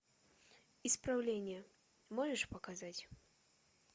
исправление можешь показать